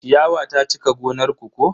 Ciyawa ta cika gonar ku ko?